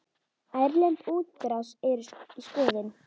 Erlend útrás er í skoðun.